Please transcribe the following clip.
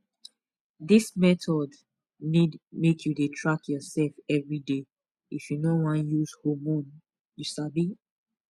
this method need make you dey track yourself everyday if you no wan use hormone you sabi